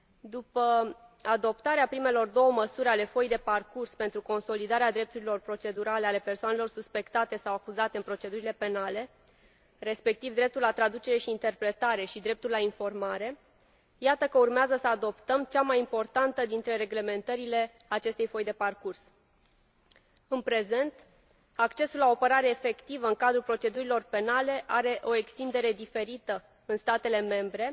După adoptarea primelor două măsuri ale Foii de parcurs pentru consolidarea drepturilor procedurale ale persoanelor suspectate sau acuzate în procedurile penale, respectiv dreptul la traducere și interpretare și dreptul la informare, iată că urmează să adoptăm cea mai importantă dintre reglementările acestei foi de parcurs. În prezent, accesul la o apărare efectivă în cadrul procedurilor penale are o extindere diferită în statele membre,